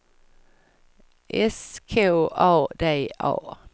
S K A D A